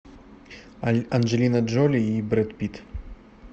анджелина джоли и брэд питт